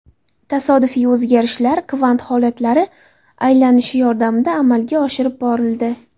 Tasodifiy o‘zgarishlar kvant holatlari aylanishi yordamida amalga oshirib borildi.